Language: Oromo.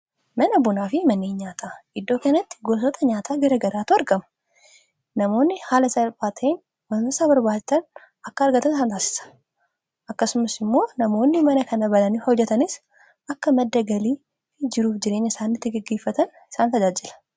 Mana bunaa fi mana nyaataa iddoo kanatti gosoota nyaataa garaagaraatu argama. Namoonni haala salphaa ta'een waan isaan barbaachisu akka argatan taasisa. Akkasumas, namoonni mana kana bananii hojjetan akka madda galii argatanii fi jiruuf jireenya isaanii itti gaggeeffatan isaan tajaajila.